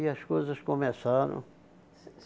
E as coisas começaram.